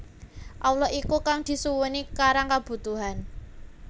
Allah iku kang disuwuni karang kabutuhan